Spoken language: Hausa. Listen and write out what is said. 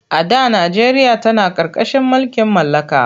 A da najeriya tana ƙarƙashin mulkin mallaka.